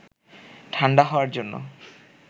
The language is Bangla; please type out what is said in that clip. ঠাণ্ডা হওয়ার জন্য